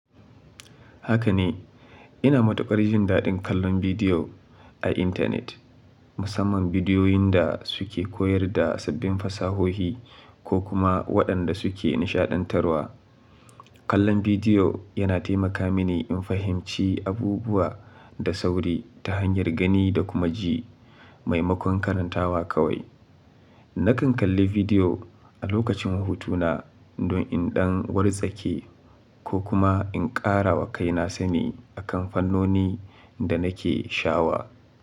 Haka ne, ina matuƙar jin daɗin kallon bidiyo a intanet, musamman bidiyoyin da suke koyar da sabbin fasahohi ko kuma waɗanda suke nishaɗantarwa. Kallon bidiyo yana taimaka mini in fahimci abubuwa da sauri ta hanyar gani da kuma ji, maimakon karantawa kawai. Nakan kalli bidiyo a lokacin hutu na don in ɗan watsaƙe ko kuma in ƙara wa kaina sani akan fannoni da nake sha'awa.